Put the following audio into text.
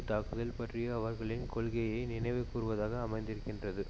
தாக்குதல் பற்றிய அவர்களின் கொள்கையை நினைவுகூர்வதாக அமைந்திருக்கின்றது